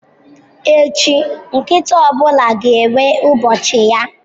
Echi, nkịta ọ bụla ga-enwe ụbọchị ya.